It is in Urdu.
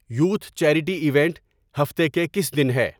یوتھ چیریٹی ایونٹ ہفتے کے کس دن ہے